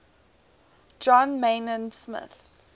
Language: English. john maynard smith